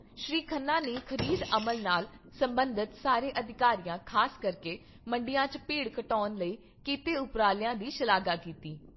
ਸ਼੍ਰੀ ਖੰਨਾ ਨੇ ਖ਼ਰੀਦ ਅਮਲ ਨਾਲ ਸਬੰਧਤ ਸਾਰੇ ਅਧਿਕਾਰੀਆਂ ਖ਼ਾਸ ਕਰਕੇ ਮੰਡੀਆਂ 'ਚ ਭੀੜ ਘਟਾਉਣ ਲਈ ਕੀਤੇ ਉਪਰਾਲਿਆਂ ਦੀ ਸ਼ਲਾਘਾ ਕੀਤੀ।